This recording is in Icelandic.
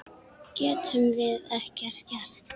Getum við ekkert gert?